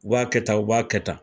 U b'a kɛ tan, u b'a kɛ tan.